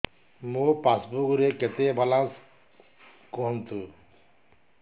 ମୋ ପାସବୁକ୍ ରେ କେତେ ବାଲାନ୍ସ କୁହନ୍ତୁ